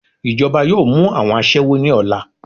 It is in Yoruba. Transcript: Ijọba yọọ mu awọn aṣẹwo ni ọla.